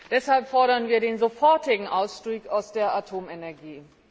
Deshalb fordern wir den sofortigen Ausstieg aus der Atomenergie.